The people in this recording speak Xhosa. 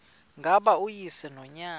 ngaba uyise nonyana